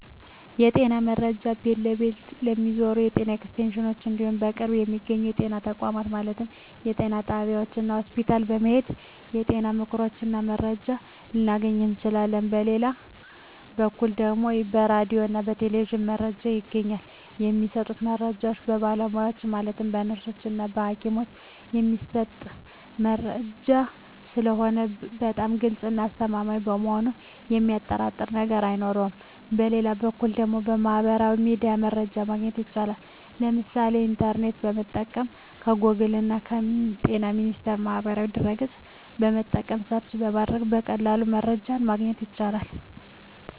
የጤና መረጃ ቤት ለቤት ከሚዞሩት የጤና ኤክስቴንሽኖች እንዲሁም በቅርብ በሚገኙ የጤና ተቋማት ማለትም ጤና ጣቢያዎች እና ሆስፒታል በመሔድ የጤና ምክሮችን እና መረጃዎችን ልናገኝ እንችላለን በሌላ በኩል ደግሞ በራዲዮ እና በቴሌቪዥንም መረጃ ይገኛል የሚሰጡት መረጃዎች በባለሙያዎች ማለትም በነርሶች እና በሀኪሞች የሚሰጥ መረጂ ስለሆነ በጣም ግልፅ እና አስተማማኝ በመሆኑ የሚያጠራጥር ነገር አይኖረውም በሌላ በኩል ደግሞ በሚህበራዊ ሚዲያ መረጃ ማግኘት ይቻላል የምሳሌ ኢንተርኔትን በመጠቀም ከጎግል እና በጤና ሚኒስቴር ማህበራዊ ድህረ ገፅን በመጠቀም ሰርች በማድረግ በቀላሉ መረጃን ማግኘት ይቻላል።